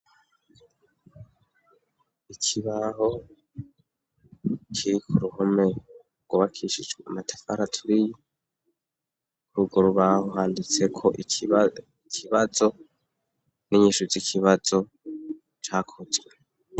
Ikibaho kiri kuruhume cubakishijwe amatafara turiye kurugurubaho handitse ko ikibazo n'inyishu zikibazo cakozwe.